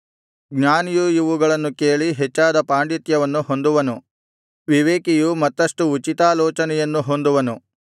ಜ್ಞಾನಿಯು ಇವುಗಳನ್ನು ಕೇಳಿ ಹೆಚ್ಚಾದ ಪಾಡಿಂತ್ಯವನ್ನು ಹೊಂದುವನು ವಿವೇಕಿಯು ಮತ್ತಷ್ಟು ಉಚಿತಾಲೋಚನೆಯನ್ನು ಹೊಂದುವನು